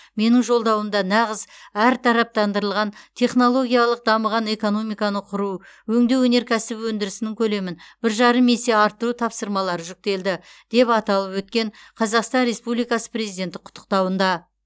менің жолдауымда нағыз әртараптандырылған технологиялық дамыған экономиканы құру өңдеу өнеркәсібі өндірісінің көлемін бір жарым есе арттыру тапсырмалары жүктелді деп аталып өткен қазақстан республикасы президенті құттықтауында